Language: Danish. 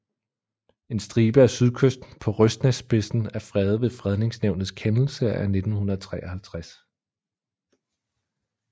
En stribe af sydkysten på Røsnæsspidsen er fredet ved Fredningsnævnets kendelse af 1953